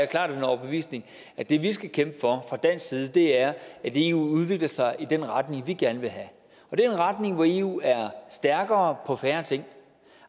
klart af den overbevisning at det vi skal kæmpe for fra dansk side er at eu udvikler sig i den retning vi gerne vil have det er en retning hvor eu er stærkere på færre ting